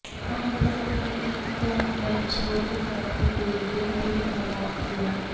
ਉਨ੍ਹਾਂ ਦੱਸਿਆ ਕਿ ਈ ਤੋਂ ਐਚ ਵਰਗ ਤਕ ਦੇ ਬਿੱਲ ਪੂਰੀ ਤਰ੍ਹਾਂ ਮੁਆਫ ਕੀਤੇ ਜਾਣਗੇ